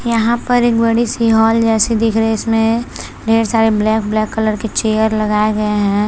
यहाँ पर एक बड़ी सी हॉल जैसे दिख रही है जिसमे ढेर सारे ब्लैक ब्लैक कलर के चेयर लगाए गए है।